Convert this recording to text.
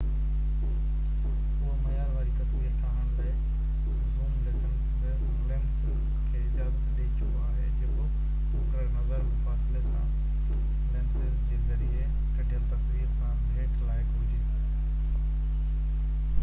اهو معيار واري تصوير ٺاهڻ لاءِ زوم لينسز کي اجازت ڏيئي چڪو آهي جيڪو مقرر نظر مفاصلي سان لينسز جي ذريعي ڪڍيل تصوير سان ڀيٽ لائق هجي